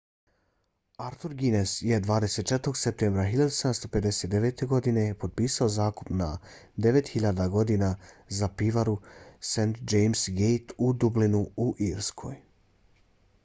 arthur guinness je 24. septembra 1759. godine potpisao zakup na 9.000 godina za pivaru st james‘ gate u dublinu u irskoj